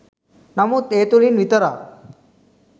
නමුත් ඒ තුළින් විතරක්